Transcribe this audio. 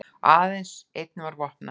Aðeins einn var vopnaður